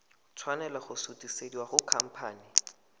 tshwanela go sutisediwa go khamphane